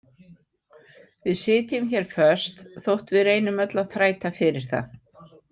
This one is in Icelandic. Við sitjum hér föst þótt við reynum öll að þræta fyrir það.